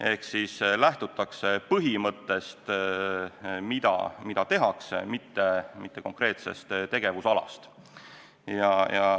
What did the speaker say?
Ehk lähtutakse põhimõttest, mida tehakse, mitte konkreetsest tegevusalast.